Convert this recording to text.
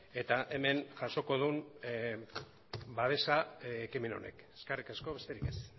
eta hemen jasoko duen babesa ekimen honek eskerrik asko besterik ez